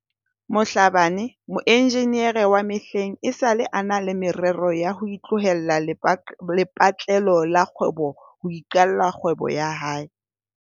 Mhlabane, moenjinere wa mehleng, esale a na le me rero ya ho tlohela lepatlelo la kgwebo ho iqalla kgwebo ya hae ya matlo.